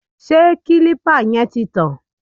Ṣé kílípà yẹn ti tàn?